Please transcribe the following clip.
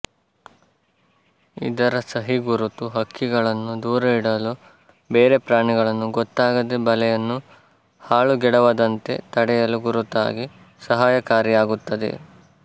ಇದರ ಸಹಿಗುರುತು ಹಕ್ಕಿಗಳನ್ನು ದೂರ ಇಡಲು ಬೇರೆ ಪ್ರಾಣಿಗಳು ಗೊತ್ತಾಗದೇ ಬಲೆಯನ್ನು ಹಾಳುಗೆಡವದಂತೆ ತಡೆಯಲು ಗುರುತಾಗಿ ಸಹಾಯಕಾರಿಯಾಗುತ್ತದೆ